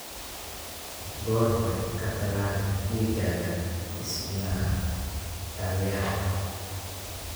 Goor hore ka tallaal digaagga isnadaamiyaha.